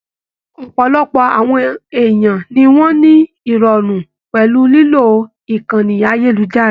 Ọpọlọpọ àwọn èèyàn ni wọn ni irọrun pẹlú lilo ìkànnì ayelujara.